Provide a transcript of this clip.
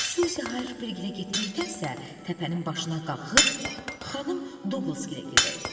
Suzi Harpigilə getməkdənsə, təpənin başına qalxıb xanım Duqlaskiylə gedək.